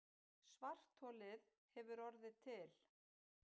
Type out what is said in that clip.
Svartholið hefur orðið til.